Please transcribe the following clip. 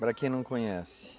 Para quem não conhece.